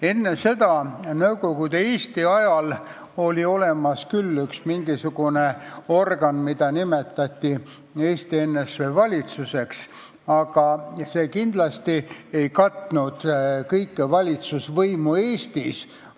Enne seda, Nõukogude Eesti ajal, oli olemas küll üks mingisugune organ, mida nimetati Eesti NSV valitsuseks, aga see kindlasti ei katnud kogu valitsemise ulatust Eestis.